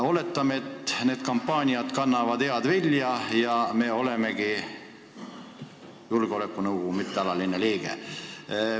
Oletame, et need kampaaniad kannavad head vilja ja me olemegi mõneks ajaks ÜRO Julgeolekunõukogu mittealaline liige.